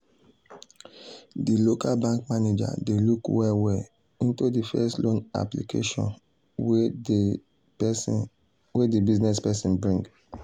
de local bank manager dey look well well into de first loan application wey de business person bring.